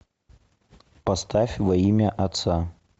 поставь во имя отца